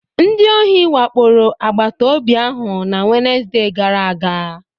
Ndị ohi wakporo agbataobi ahụ na Wenezde gara aga